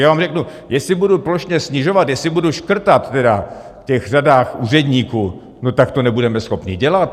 Já vám řeknu, jestli budu plošně snižovat, jestli budu škrtat tedy v těch řadách úředníků, no tak to nebudeme schopni dělat!